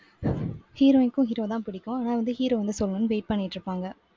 heroine க்கும் hero தான் பிடிக்கும். ஆனா வந்து hero வந்து சொல்லணும்ன்னு wait பண்ணிட்டு இருப்பாங்க.